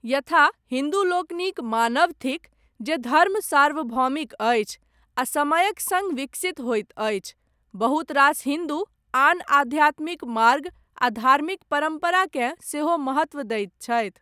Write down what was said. यथा हिन्दूलोकनिक मानब थिक, जे धर्म सार्वभौमिक अछि, आ समयक सङ्ग विकसित होइत अछि, बहुत रास हिन्दू आन आध्यात्मिक मार्ग आ धार्मिक परम्पराकेँ, सेहो महत्त्व दैत छथि।